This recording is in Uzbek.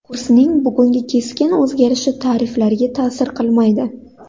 Kursning bugungi keskin o‘zgarishi tariflarga ta’sir qilmaydi.